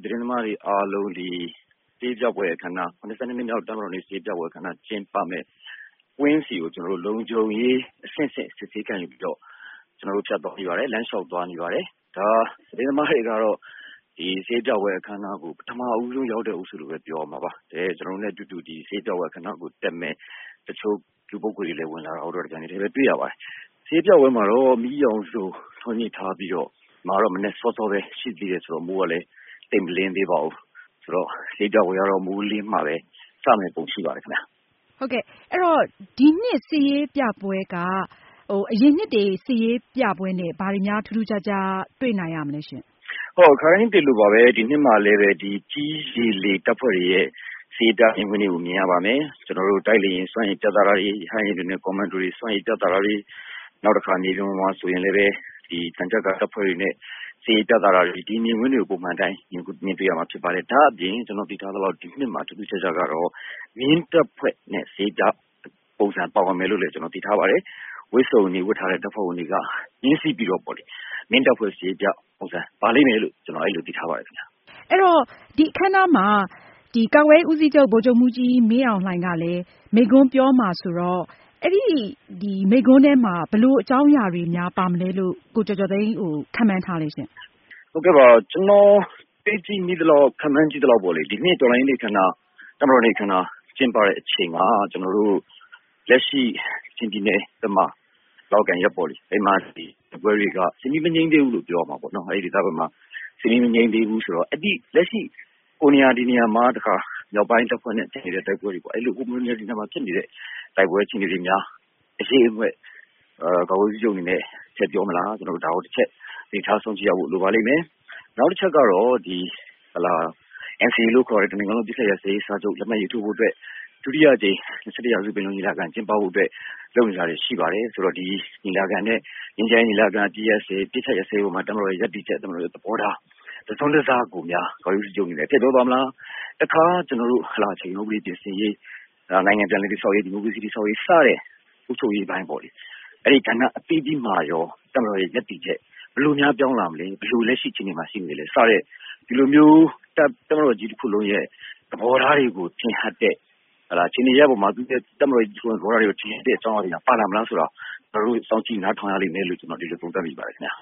တင်းသမားတွေ အားလုံး နှစ်မြောက် တပ်မတော်နေ့ စစ်ရေးပြပွဲ အခမ်းအနားကျင်းပမယ့် ကွင်းဆီကို လုံခြုံရေး အဆင့်ဆင့် စစ်ဆေး ခံယူပြီးတော့ ကျနော်တို့ ဖြတ်သွားနေပါတယ်။ လမ်းလျှောက် သွားနေပါတယ်။ သတင်းသမားတွေကတော့ စစ်ရေးပြပွဲ အခမ်းအနားကို ပထမဦးဆုံး ရောက်လာတဲ့ အုပ်စုလို့ ပြောရမှာပါ။ ကျနော်တို့နဲ့ အတူအတူ စစ်ရေးပြပွဲ အခမ်းအနားကိုတက်မယ့် တချို့ လူပုဂ္ဂိုလ်တွေ ဝင်လာတာလည်း တပြိုင်နက်တည်း တွေ့ရပါတယ်။ စစ်ရေးပြပွဲမှာတော့ မီးရောင်စုံ ထွန်းညှိထားပြီးတော့၊ ဒီမှာတော့ မနက်စောစောပဲ ရှိသေးတယ်ဆိုတော့ စစ်ရေးပြပွဲ ကတော့ မိုးလင်းမှပဲ စမယ့်ပုံ ရှိပါတယ်။ မေး။ ။ ဒီနှစ် စစ်ရေးပြပွဲက အရင်နှစ်တွေက စစ်ရေးပြပွဲနဲ့ ဘာတွေများ ထူးထူးခြားခြား ရှိမလဲရှင့်။ ဖြေ။ ။ ခါတိုင်းတွေလိုပါပဲ ဒီနှစ်မှာလဲပဲ ကြည်း၊ ရေ၊ လေ တပ်ဖွဲ့တွေရဲ့ စစ်ရေးပြ မြင်ကွင်းတွေကို မြင်ရပါမယ်။ တိုက်လေယာဉ် စွမ်းရည်ပြသတာတွေ၊ ရဟတ်ယာဉ်တွေနဲ့ ကွန်မန်ဒိုတွေ စစ်ရေး ပြသတာတွေ၊ မြေပြင်ပေါ်မှာ ဆိုရင်လည်း သံချပ်ကာ ကားတွေနဲ့ စစ်ရေးပြတာတွေ စတဲ့ မြင်ကွင်းတွေကို ပုံမှန်အတိုင်း မြင်တွေ့ရမှာ ဖြစ်ပါတယ်။ ဒီနှစ်မှာ ထူးထူးခြားခြားကတော့ မြင်းတပ်ဖွဲ့နဲ့ စစ်ရေးပြ ပုံစံပါဝင်မယ်လို့ ကျနော် သိထားပါတယ်။ ဝတ်စုံတွေ ဝတ်ထားတဲ့ တပ်ဖွဲ့ဝင်တွေက မြင်းစီးပြီး မြင်းတပ်ဖွဲ့ စစ်ရေးပြ ပုံစံပါလိမ့်မယ်လို့ ကျနော်သိထားပါတယ်။ မေး။ ။ ကာကွယ်ရေးဦးစီးချုပ် ဗိုလ်ချုပ်မှူးကြီး မင်းအောင်လှိုင်က မိန့်ခွန်းပြောမှာဆိုတော့ မိန့်ခွန်းထဲမှာ ဘယ်လို အကြောင်းအရာတွေများ ပါမလဲလို့ ကိုကျော်ကျော်သိန်း ခန့်မှန်း ထားသလဲရှင့်။ ဖြေ။ ။ ကျနော် ခန့်မှန်းမိသလောက် ဒီနေ့ တော်လှန်ရေးနေ့ အခမ်းအနား၊ တပ်မတော်နေ့ အခမ်းအနား ကျင်းပချိန်မှာ ကျနော်တို့ လက်ရှိ ကချင်ပြည်နယ်နဲ့ ရှမ်းပြည်နယ် လောက်ကိုင်ဘက်မှာ စစ်မီး မငြိမ်းသေးဘူး၊ လက်ရှိ မြောက်ပိုင်း မဟာမိတ်နဲ့ ဟိုနေရာ ဒီနေရာမှာ ဖြစ်နေတဲ့ တိုက်ပွဲတွေများ အရိပ်အမြွက် ကာကွယ်ရေးဦးစီးချုပ်အနေနဲ့ ထည့်ပြောမလား။ ဒါကို သတိထားစောင့်ကြည့်ဖို့ လိုပါလိမ့်မယ်။ နောက်တချက်ကတော့ NCA လို့ခေါ်တဲ့ တနိုင်ငံလုံး အပစ်အခတ်ရပ်စဲရေးစာချုပ် လက်မှတ်ရေး ထိုးဖို့အတွက် ဒုတိယအကြိမ် ၂၁ ရာစု ပင်လုံညီလာခံ ကျင်းပဖို့အတွက် လုပ်နေတာတွေ ရှိပါတယ်။ ဆိုတော့ ဒီငြိမ်းချမ်းရေး ညီလာခံနဲ့ အပစ်အခတ်ရပ်စဲရေးပေါ်မှာ တပ်မတော်ရဲ့ ရပ်တည်ချက်၊ သဘောထား တစွန်းတစ ကိုများ ကာကွယ်ရေး ဦးစီးချုပ်အနေနဲ့ ထည့်ပြောသွားမလား၊ တခါ အခြေခံဥပဒေ ပြင်ဆင်ရေး၊ နိုင်ငံပြန်လည် တည်ဆောက်ရေး၊ ဒီမိုကရေစီ တည်ဆောက်ရေး စတဲ့ အုပ်ချုပ်ရေး ပိုင်းပေါ့လေ။ အဲဒီ ကဏ္ဍအသီးသီးမှာရော တပ်မတော်ရဲ့ ရပ်တည်ချက် ဘယ်လိုများ ပြောင်းလာမလဲ စတဲ့ တပ်မတော်ကြီး တခုလုံးရဲ့ သဘောထားတွေကို ထင်ဟပ်တဲ့ အကြောင်းအရာတွေများ ပါလာမလားဆိုတာ ကျနော်တို့ စောင့်ကြည့် နားထောင်ရ လိမ့်မယ်လို့ သုံးသပ် မိပါတယ်ခင်ဗျ